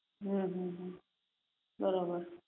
હમ હમ હમ બરોબર